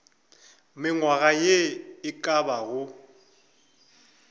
mengwaga ye e ka bago